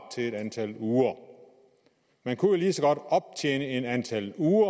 til et antal uger man kunne jo lige så godt optjene et antal uger